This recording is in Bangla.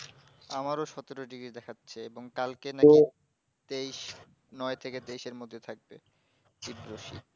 আমারও সতেরো degree দেখাচ্ছে এবং কালকে নাকি তেইশ নয় থেকে তেইশ এর মধ্যে থাকবে তুবার শীত